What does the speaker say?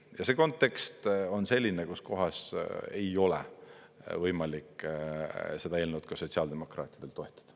Ja see kontekst on selline, kuskohas ei ole võimalik seda eelnõu ka sotsiaaldemokraatidel toetada.